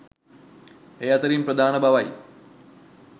ඒ අතරින් ප්‍රධාන බවයි